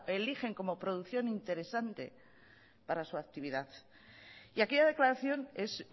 eligen como producción interesante para su actividad y aquella declaración es